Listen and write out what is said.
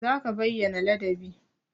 Za ka bayyana ladabi!